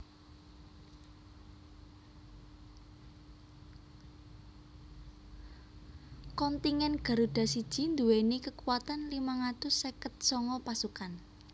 Kontingen Garuda I nduwèni kakuatan limang atus seket sanga pasukan